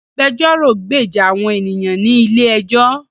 Agbẹjọ́rò gbèjà àwọn ènìyàn ní ilé ẹjọ́